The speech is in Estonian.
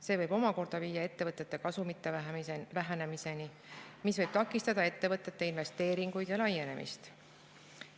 See võib omakorda viia ettevõtete kasumite vähenemiseni, mis võib takistada ettevõtete investeeringuid ja laienemist.